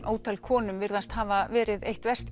ótal konum virðast hafa verið eitt verst